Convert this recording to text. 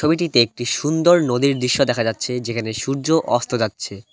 ছবিটিতে একটি সুন্দর নদীর দৃশ্য দেখা যাচ্ছে যেখানে সূর্য অস্ত যাচ্ছে।